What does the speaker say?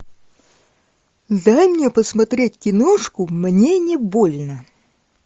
дай мне посмотреть киношку мне не больно